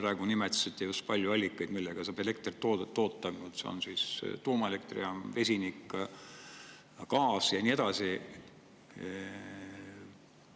Te praegu nimetasite just palju allikaid, millega saab elektrit toota: see on siis tuumaelektrijaam, vesinik, gaas ja nii edasi.